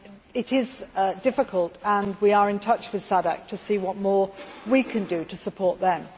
It is difficult and we are in touch with SADC to see what more we can do to support them.